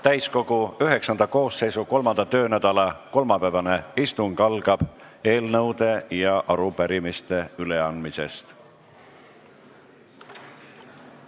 Täiskogu IX istungjärgu 3. töönädala kolmapäevane istung algab eelnõude ja arupärimiste üleandmisest.